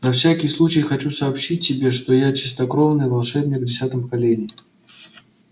на всякий случай хочу сообщить тебе что я чистокровный волшебник в десятом колене